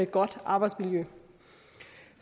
godt arbejdsmiljø